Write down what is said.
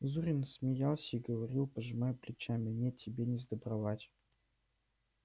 зурин смеялся и говорил пожимая плечами нет тебе не сдобровать